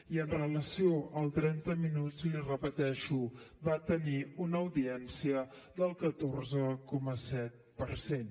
i amb relació al trenta minuts li repeteixo va tenir una audiència del catorze coma set per cent